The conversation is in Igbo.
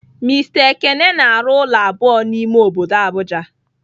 Mister ekene na-arụ ụlọ abụọ n'ime obodo Abuja.